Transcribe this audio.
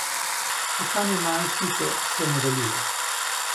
Iskanje najstnice se nadaljuje.